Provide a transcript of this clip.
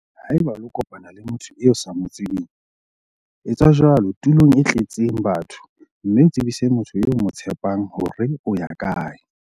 Haeba o lo kopana le motho eo o sa mo tsebeng, etsa jwalo tulong e tletseng batho mme o tsebise motho eo o mo tshepang hore o ya kae.